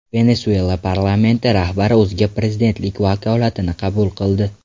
Venesuela parlamenti rahbari o‘ziga prezidentlik vakolatini qabul qildi.